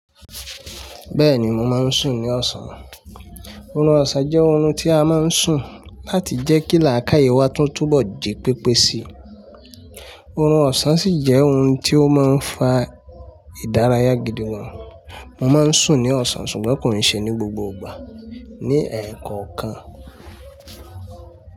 Bẹ́ẹ̀ni mo máa ń sùn ní ọ̀sán. Oorun ọ̀sán jẹ́ oorun tí a máa ń sùn láti jẹ́ kí làákàyè wa tún túbọ̀ ji pépé si. Orun ọ̀sán sì jẹ́ ohun tí ó máa ń fa ìdárayá gidi wọn. Mo máa ń sùn ní ọ̀sán ṣùgbọ́n kò n ṣe ní gbogbo ìgbà. Ní ẹ̀ẹ̀kan kan.